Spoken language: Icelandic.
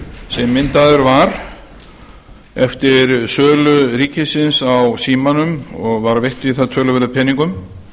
sem myndaður var eftir sölu ríkisins á símanum og var veitt í það töluverðum peningum